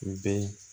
U bɛ